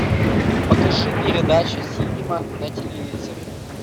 покажи передачу синема на телевизоре